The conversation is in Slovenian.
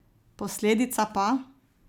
Posledica pa?